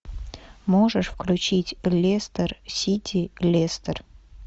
можешь включить лестер сити лестер